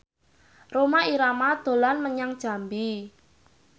Rhoma Irama dolan menyang Jambi